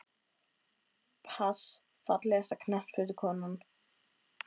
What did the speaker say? pass Fallegasta knattspyrnukonan?